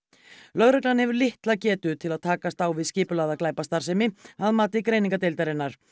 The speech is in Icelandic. lögreglan hefur litla getu til að takast á við skipulagða glæpastarfsemi að mati greiningardeildarinnar